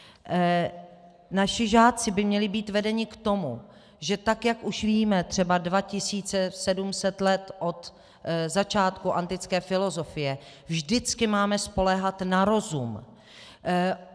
Naši žáci by měli být vedeni k tomu, že tak jak už víme třeba 2700 let od začátku antické filozofie, vždycky máme spoléhat na rozum.